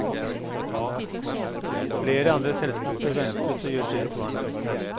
Flere andre selskaper ventes å gjøre tilsvarende.